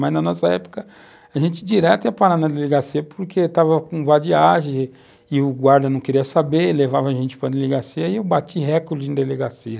Mas, na nossa época, a gente direto ia parar na delegacia porque estava com vadiagem e o guarda não queria saber, levava a gente para a delegacia e eu bati recorde em delegacia.